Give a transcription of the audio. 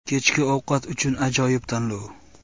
Kechki ovqat uchun ajoyib tanlov.